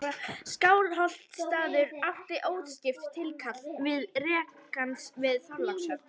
Skálholtsstaður átti óskipt tilkall til rekans við Þorlákshöfn.